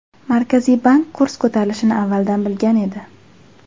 Markaziy bank kurs ko‘tarilishini avvaldan bilgan edi.